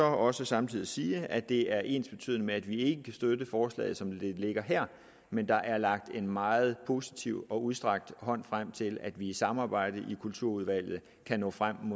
også samtidig sige at det er ensbetydende med at vi ikke kan støtte forslaget som det ligger her men der er rakt en meget positiv og udstrakt hånd frem til at vi i samarbejde i kulturudvalget kan nå frem